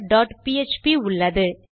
counterபிஎச்பி உள்ளது